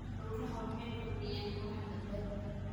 Dhirta ubaxa waxay kordhiyaan quruxda beerta.